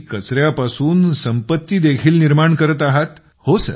आणि कचऱ्या पासून संपत्ती देखील निर्माण करत आहात